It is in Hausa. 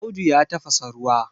Audu ya tafasa ruwa